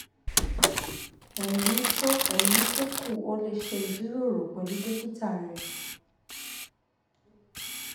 ẹ̀yí tó ẹ̀yí tó kù o lè ṣe ìjíròrò pẹ̀lú dókítà rẹ